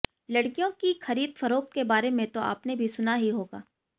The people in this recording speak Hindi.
लड़कियों की खरीद फरोख्त के बारे में तो आपने भी सुना हीं होगा